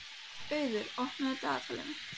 Auður, opnaðu dagatalið mitt.